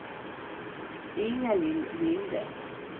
Inga-Lill Linde